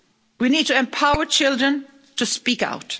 We need to empower children to speak out.